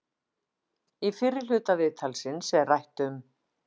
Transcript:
Í fyrri hluta viðtalsins er rætt um